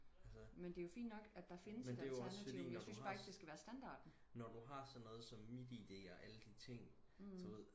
altså men det er jo også fordi når du har når du har sådan noget som mit id og alle de ting så ved